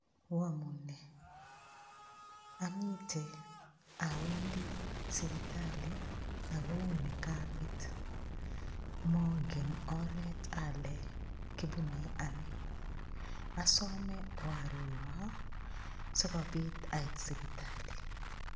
Womune amite awendi sipitali ako uu ni kabet mongen oret ale kobunei ano asome oarora sikobit ait sipitali